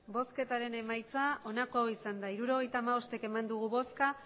emandako botoak hirurogeita hamabost bai